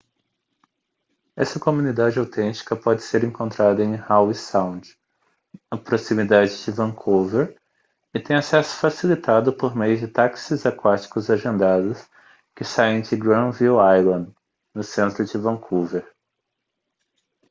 essa comunidade autêntica pode ser encontrada em howe sound na proximidade de vancouver e tem acesso facilitado por meio de táxis aquáticos agendados que saem de granville island no centro de vancouver